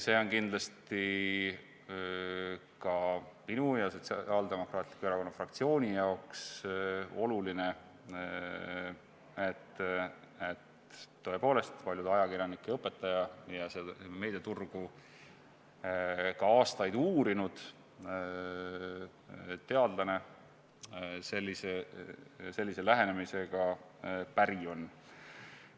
See on kindlasti ka minu ja Sotsiaaldemokraatliku Erakonna fraktsiooni jaoks oluline, et tõepoolest paljude ajakirjanike õpetaja ja meediaturgu aastaid uurinud teadlane sellise lähenemisega päri on.